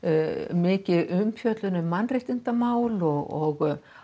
mikil umfjöllun um mannréttindamál og